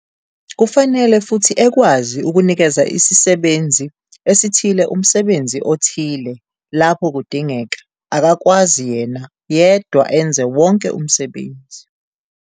Kufanele futhi ekwazi ukunikeza isisebenzi esithile umsebenzi othile lapho kudingeka, akakwazi yena yedwa enze wonke umsebenzi.